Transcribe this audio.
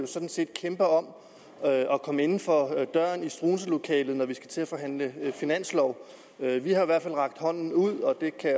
sådan set kæmper om at komme inden for døren i struenseelokalet når vi skal til at forhandle finanslov vi har i hvert fald rakt hånden ud og det kan